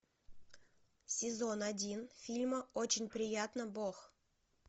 сезон один фильма очень приятно бог